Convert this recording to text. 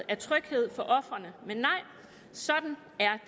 af trygheden for ofrene men nej sådan er